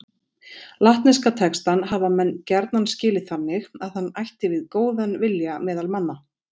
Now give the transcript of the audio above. Latneska textann hafa menn gjarna skilið þannig að hann ætti við góðan vilja meðal manna.